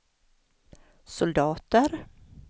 soldater